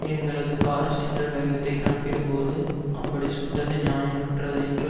எங்களது கார் சென்ற வேகத்தை கணக்கிடும்போது அப்படி சுட்டது நியாயமற்றது என்று